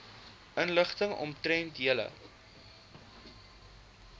inligting omtrent julle